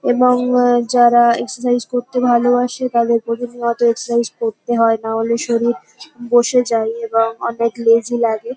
এবং আ যারা এক্সারসাইস করতে ভালবাসে তাদের প্রতিনিয়ত এক্সারসাইস করতে হয় নাহলে শরীর বসে যায় এবং অনেক লেজি লাগে।